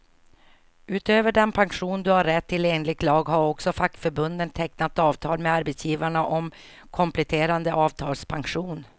Utöver den pension du har rätt till enligt lag, har också fackförbunden tecknat avtal med arbetsgivarna om kompletterande avtalspension.